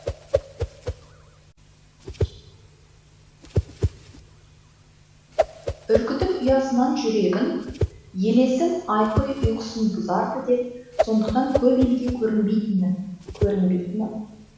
үркітіп ұясынан жүрегін елесім ұйқысын бұзар ды деп сондықтан көп елге көрінбейтінмін көрінбейтінім